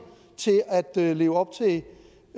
til at leve op